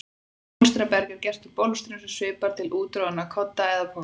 Bólstraberg er gert úr bólstrum sem svipar til úttroðinna kodda eða poka.